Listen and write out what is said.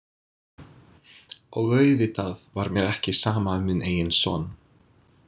Og auðvitað var mér ekki sama um minn eigin son.